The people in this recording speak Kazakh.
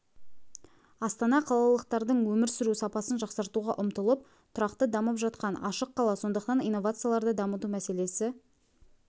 астана қалалықтардың өмір сүру сапасын жақсартуға ұмтылып тұрақты дамып жатқан ашық қала сондықтан инновацияларды дамыту мәселесі